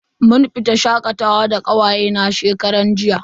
Mun fita shakatawa da kawaye na shekaran jiya.